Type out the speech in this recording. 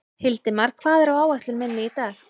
Hildimar, hvað er á áætluninni minni í dag?